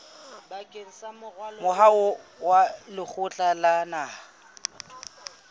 moaho wa lekgotla la naha